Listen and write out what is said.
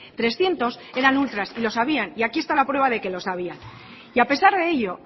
trescientos eran ultras y lo sabían y aquí está la prueba de que lo sabían y a pesar de ello